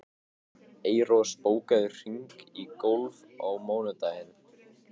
Eyrós, bókaðu hring í golf á mánudaginn.